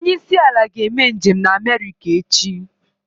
Onye isi ala ga-eme njem na America echi